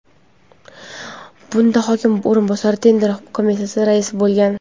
Bunda hokim o‘rinbosari tender komissiyasi raisi bo‘lgan.